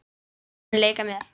Mun leika mér.